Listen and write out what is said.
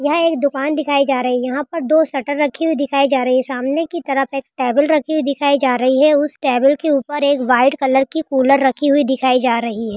यह एक दुकान दिखाई जा रही है यहां पर दो शटर रखी हुई दिखाई जा रही है सामने की तरफ एक टेबल रखी हुई दिखाई जा रही है उस टेबल के ऊपर एक वाइट कलर की कूलर रखी हुई दिखाई जा रही है।